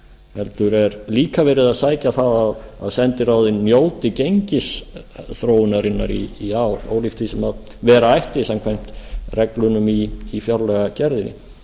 heldur er líka verið að sækja að að sendiráðin njóti gengisþróunarinnar í ár ólíkt því sem vera ætti samkvæmt reglunum í fjárlagagerðinni